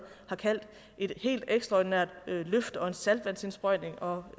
har kaldt et helt ekstraordinært løft og en saltvandsindsprøjtning og